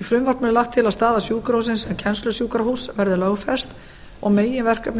í frumvarpinu er lagt til að staða sjúkrahússins sem kennslusjúkrahúss verði lögfest og meginverkefni